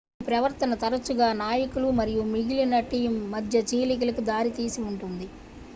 ఈ ప్రవర్తన తరచుగా నాయకులు మరియు మిగిలిన టీమ్ మధ్య చీలికలకు దారితీసిఉంటుంది